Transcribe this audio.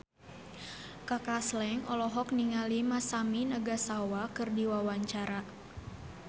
Kaka Slank olohok ningali Masami Nagasawa keur diwawancara